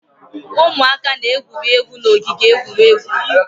Ụmụaka na-egwuri egwu n'ogige egwuregwu